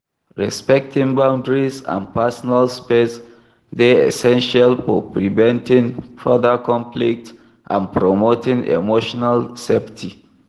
Respecting boundaries and personal space dey essential for preventing further conflict and promoting emotional safety.